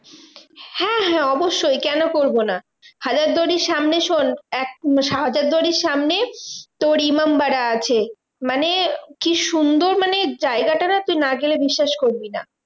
হ্যাঁ হ্যাঁ অবশ্যই, কেন করবো না? হাজারদুয়ারির সামনে শোন্ এক হাজারদুয়ারির সামনে তোর ইমামবাড়া আছে মানে, কি সুন্দর মানে জায়গাটা না? তুই না গেলে বিশ্বাস করবি না।